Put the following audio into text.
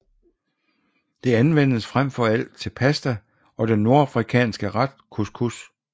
Det anvendes frem for alt til pasta og den nordafrikanske ret couscous